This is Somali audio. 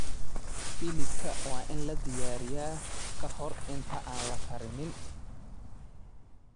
Hilibka waa in la diyaariyaa ka hor inta aan la karinin.